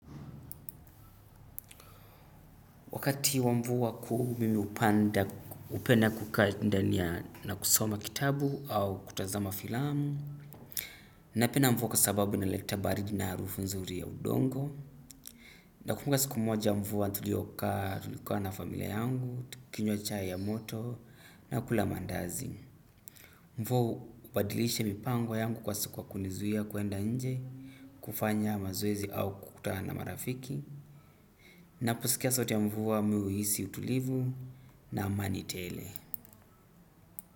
Wakati wa mvua kuu mi hupanda hupenda kukaa ndani ya na kusoma kitabu au kutazama filamu. Napenda mvua kwa sababu inaleta baridi na harufu nzuri ya udongo. Nakumbuka siku moja mvua tulio kaa tulikaa na familia yangu, tukinywa chai ya moto na kula mandazi. Mvua hubadilisha mipango yangu kwa sikuwa kunizuia kuenda nje, kufanya mazoezi au kukutana na marafiki. Naposikia sauti ya mvua mi huhisi utulivu na amani tele.